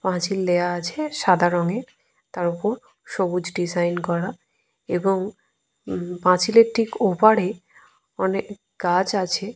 পাঁচিল দেওয়া আছে সাদা রঙের। তার ওপর সবুজ ডিসাইন করা এবং পাঁচিলের ঠিক ওপারে অনেক গাছ আছে।